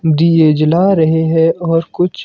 दिये जला रहे हैं और कुछ--